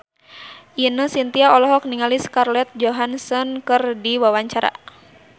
Ine Shintya olohok ningali Scarlett Johansson keur diwawancara